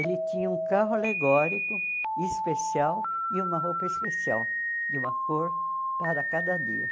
Ele tinha um carro alegórico especial e uma roupa especial, de uma cor, para cada dia.